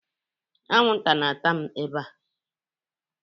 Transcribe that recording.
Anwụnta na-ata m ebe a.